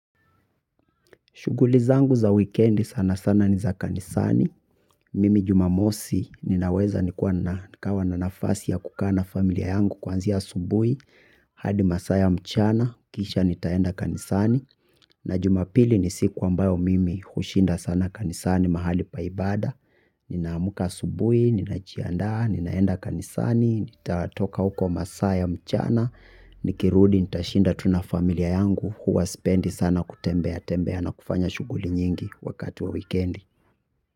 Shuguli zangu za wikendi sana sana ni za kanisani. Mimi jumamosi ninaweza nikawa na nafasi ya kukaa na familia yangu kwanzia asubui. Hadi masaya mchana, kisha nitaenda kanisani. Na jumapili ni siku ambayo mimi hushinda sana kanisani mahali pa ibada. Ninaamuka asubui, ninajiandaa, ninaenda kanisani, nitatoka huko masaa ya mchana. Nikirudi nitashinda tu na familia yangu huwa spendi sana kutembea ya tembea na kufanya shuguli nyingi wakati wa wikendi.